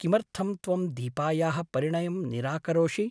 किमर्थं त्वं दीपायाः परिणयं निराकरोषि ?